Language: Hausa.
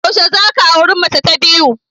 Yaushe za ka auri mace ta biyu?